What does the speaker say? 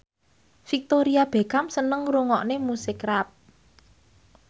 Victoria Beckham seneng ngrungokne musik rap